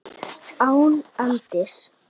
Gleðin vék fyrir glotti.